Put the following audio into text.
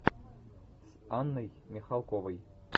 с анной михалковой